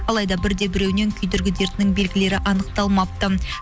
алайда бір де біреуінен күйдіргі дертінің белгілері анықталмапты